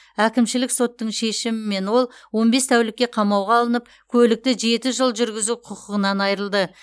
әкімшілік соттың шешімімен ол он бес тәулікке қамауға алынып көлікті жеті жыл жүргізу құқығынан айырылды